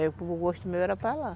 O gosto meu era ir para lá.